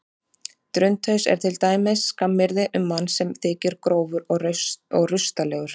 Drundhaus er til dæmis skammaryrði um mann sem þykir grófur og rustalegur.